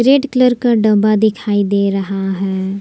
Red colour का डब्बा दिखाई दे रहा है।